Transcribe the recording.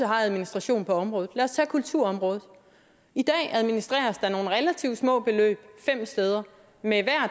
har administration på området lad os tage kulturområdet i dag administreres der nogle relativt små beløb fem steder med